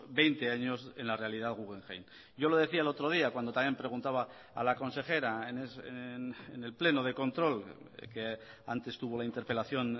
veinte años en la realidad guggenheim yo le decía el otro día cuando también preguntaba a la consejera en el pleno de control que antes tuvo la interpelación